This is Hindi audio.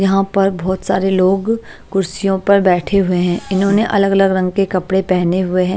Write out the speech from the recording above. यहां पर बहोत सारे लोग कुर्सियों पर बैठे हुए हैं इन्होंने अलग अलग रंग की कपड़े पहने हुए हैं।